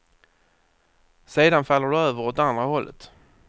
Sedan faller du över åt andra hållet.